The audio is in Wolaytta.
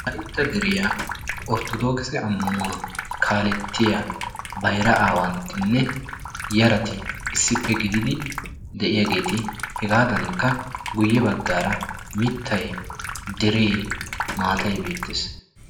Wolaytta deriya orttodookise ammannuwa kaallettiya bayira aawanttinne yarati issippe gididi de'iyaageeti hegaadankka guyye baggara mittay, deree, maatay beettes.